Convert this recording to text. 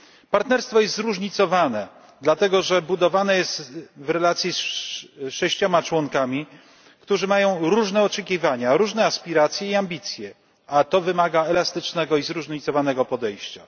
Partnerstwo jest zróżnicowane, dlatego że budowane jest w relacji z sześcioma członkami, którzy mają różne oczekiwania, różne aspiracje i ambicje, a to wymaga elastycznego i zróżnicowanego podejścia.